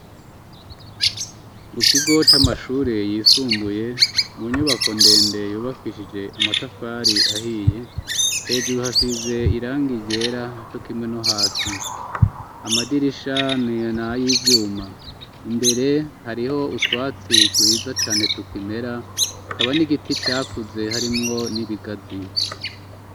Mukigo c'amashure yisumbuye mu nyubako ndende yubakishije amatafari ahiye hejuru hasize iranga igera co kimwe no hasi amadirisha n'ay'ivyuma imbere hariho utwatsi twiza cane tukimera hakaba n'igiti cakuze harimwo n'ibigazi.